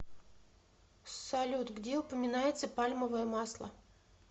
салют где упоминается пальмовое масло